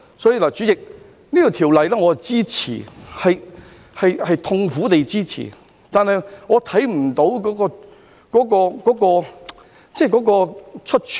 因此，主席，我支持《條例草案》，是痛苦地支持的，我看不到出處。